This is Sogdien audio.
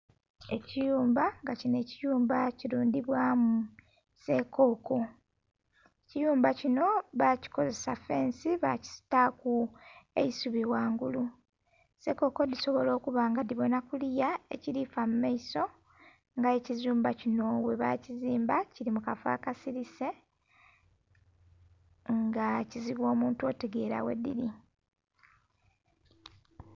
Ekiyumba nga kinho ekiyumba kilundhibwamu sekoko, ekiyumba kinho bakikolesa fensi bakitaku eisubi ghangulu. Sekoko dhisobola okuba nga ndhibonha kuliya ekilafa mu maiso nga eye ekiyumba kinho ghe bakizimba kili mukafo akasilise nga kizibu omuntu otegera ghe dhiri